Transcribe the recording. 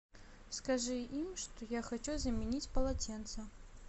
скажи им что я хочу заменить полотенца